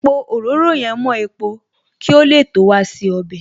Pò òróró yẹn mo epo kí ó lè tó wa se ọbẹ̀